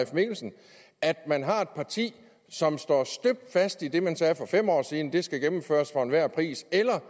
mikkelsen at man har et parti som står støbt fast i det man sagde for fem år siden at det skal gennemføres for enhver pris eller